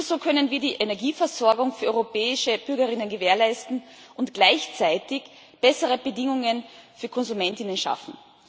Nur so können wir die Energieversorgung für europäische BürgerInnen gewährleisten und gleichzeitig bessere Bedingungen für KonsumentInnen schaffen.